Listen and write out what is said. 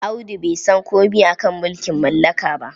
Audu bai san komai a ka mulking mallaka ba.